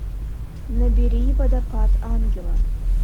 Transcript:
набери водопад ангела